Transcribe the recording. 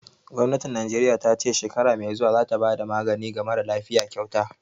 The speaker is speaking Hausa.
Gwamnatin Najeriya ta ce shekara mai zuwa za ta bada magani ga marasa lafiya kyauta